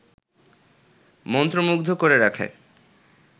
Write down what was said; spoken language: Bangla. মন্ত্রমুগ্ধ করে রাখে